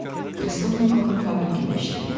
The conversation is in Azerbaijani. Krestovnikovun fabrikində işləyirdi.